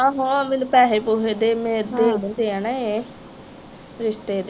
ਆਹੋ ਮੈਨੂੰ ਪੈਸੇ ਪੂਸੇ ਦੇ ਦਿੰਦੇ ਆ ਨਾ ਇਹ ਦੇ